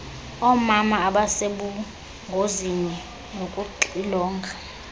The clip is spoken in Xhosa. oomama abasebungozini nokuxilonga